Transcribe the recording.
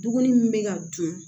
Duguni min bɛ ka dun